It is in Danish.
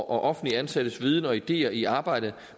og offentligt ansattes viden og ideer i arbejdet